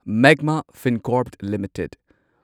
Magma Fincorp limited